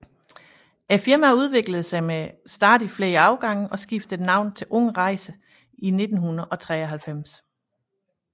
Firmaet udviklede sig med stadig flere afgange og skiftede navn til Ung Rejs i 1993